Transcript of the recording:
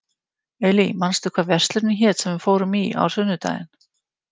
Elí, manstu hvað verslunin hét sem við fórum í á sunnudaginn?